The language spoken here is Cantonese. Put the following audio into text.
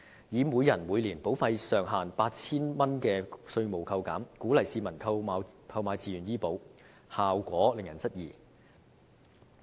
以每人每年保費上限 8,000 元的稅務扣減，鼓勵市民購買自願醫保，效果令人質疑。